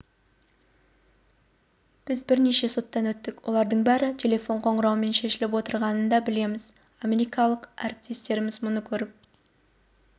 біз бірнеше соттан өттік олардың бәрі телефон қоңырауымен шешіліп отырғанын да білеміз америкалық әріптестеріміз мұны көріп